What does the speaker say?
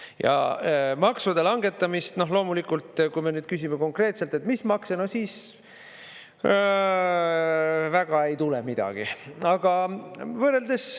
Ja maksude langetamist loomulikult, kui me nüüd küsime konkreetselt, et mis makse, no siis väga ei tule midagi.